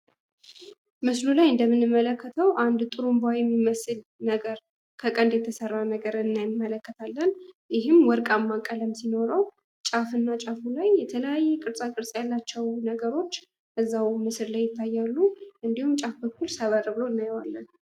ምስሉ ላይ እንደምንመለከተው አንድ ጥሩምባ የሚመስል ነገር ከቀንድ የተሰራ ነገር እንመለከታለን ይህም ወርቃማ ቀለም ሲኖረው ጫፍ እና ጫፉ ላይ የተለያየ ቅርጻ ቅርጽ ያላቸው ነገሮች እዛው ምስል ላይ ይታያሉ። እንዲሁም በጫፍ በኩል ሰበር ብሎ እናየዋለን።